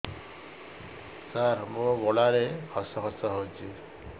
ସାର ମୋ ଗଳାରେ ଖସ ଖସ ହଉଚି